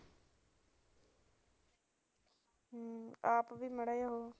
ਆਪ ਵੀ ਮਾੜਾ ਜਿਹਾ